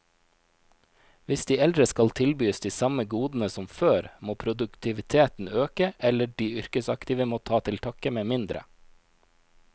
Hvis de eldre skal tilbys de samme godene som før, må produktiviteten øke, eller de yrkesaktive må ta til takke med mindre.